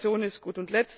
Die Kooperation ist gut.